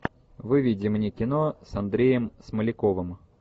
выведи мне кино с андреем смоляковым